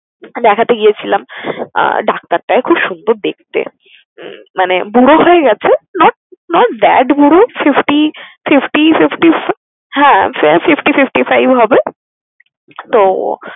দেখাতে গিয়েছিলাম আহ ডাক্তারটা খুব সুন্দর দেখতে। মানে বুড়ো হয়ে গেছে not not bad বুড়ো fifty fifty fifty হ্যাঁ fifty~ fifty five এর হবে। তো